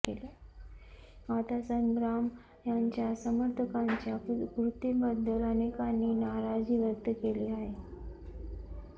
आता संग्राम यांच्या समर्थकांच्या कृतीबद्दल अनेकांनी नाराजी व्यक्त केली आहे